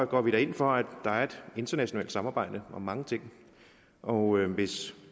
går vi da ind for at der er et internationalt samarbejde om mange ting og hvis